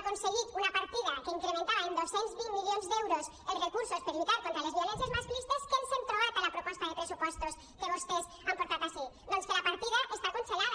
aconseguit una partida que incrementava en dos cents i vint milions d’euros els recursos per lluitar contra les violències masclistes què ens hem trobat a la proposta de pressupostos que vostès han portat ací doncs que la partida està congelada